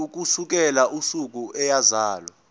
ukusukela usuku eyazalwa